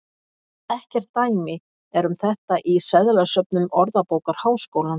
Ekkert dæmi er um þetta í seðlasöfnum Orðabókar Háskólans.